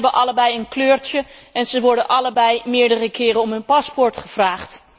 Ze hebben allebei een kleurtje en ze worden allebei meerdere keren om hun paspoort gevraagd.